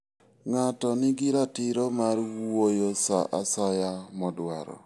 Ng'ato nigi ratiro mar wuoyo sa asaya modwaro.